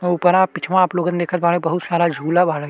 हुपरा पिछवा आप लोगन देखत बाड़े बहुत सारा झूला बाड़ै।